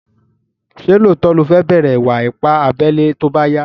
Ṣé lóòtó ní o fẹ́ bẹ̀rẹ̀ ìwà ipá abẹ́lé tóbá yá?